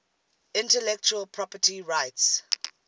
intellectual property rights